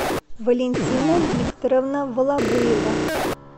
валентина викторовна валабуева